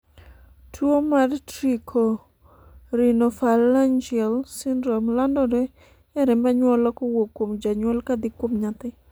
tuo mar Trichorhinophalangeal syndrome landore e remb anyuola kowuok kuom janyuol kadhi kuom nyathi